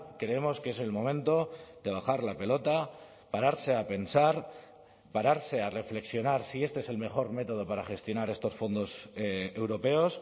creemos que es el momento de bajar la pelota pararse a pensar pararse a reflexionar si este es el mejor método para gestionar estos fondos europeos